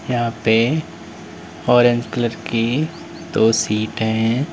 यहां पे orange colour की दो सीट है।